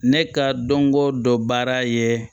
Ne ka dɔnko dɔ baara ye